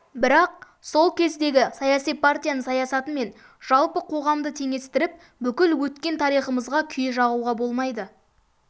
бірақ сол кездегі саяси партияның саясаты мен жалпы қоғамды теңестіріп бүкіл өткен тарихымызға күйе жағуға болмайды